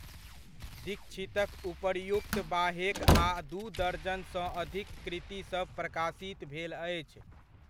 दीक्षितक उपर्युक्त बाहेक आ दू दर्जनसँ अधिक कृतिसभ प्रकाशित भेल अछि।